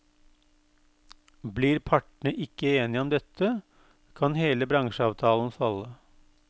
Blir partene ikke enige om dette, kan hele bransjeavtalen falle.